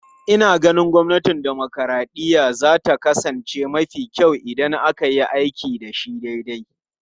Ina ganin gwamnatin dimokuraɗiyya za ta kasance mafi kyau idan aka yi aiki da shi daidai.